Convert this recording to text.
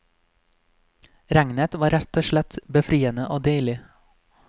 Regnet var rett og slett befriende og deilig.